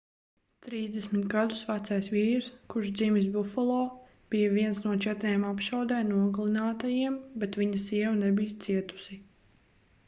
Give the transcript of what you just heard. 30 gadus vecais vīrs kurš dzimis bufalo bija viens no četriem apšaudē nogalinātajiem bet viņa sieva nebija cietusi